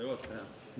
Hea juhataja!